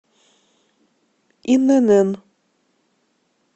инн